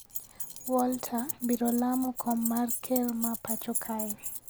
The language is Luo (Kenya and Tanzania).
Walter biro laro kom mar ker ma pacho kae.